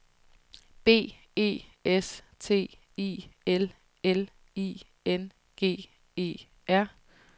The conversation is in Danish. B E S T I L L I N G E R